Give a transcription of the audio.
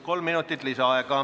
Kolm minutit lisaaega.